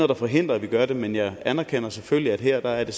der forhindrer at man gør det men jeg anerkender selvfølgelig at her er det